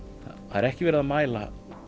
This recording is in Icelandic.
það er ekki verið að mæla